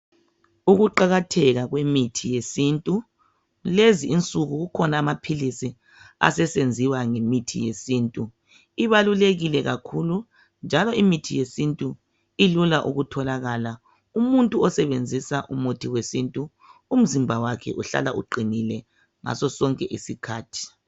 Ukuqakatheka kwemithi yakulezinsuku, kukhona amaphilisi asesenziwa ngemithi yesintu. Ibalulekile kakhulu njalo imitji yesintu ilula ukutholakala. Umuntu osebenzisa umuthi wesintu umzimba wakhe uhlala uqinile ngasosonke isikhathi.